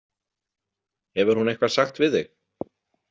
Hefur hún eitthvað sagt við þig?